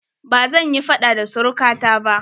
Bazan yi faɗa da suruka ta ba